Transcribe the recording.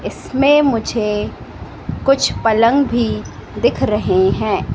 इसमें मुझे कुछ पलंग भी दिख रहे हैं।